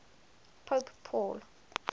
pope paul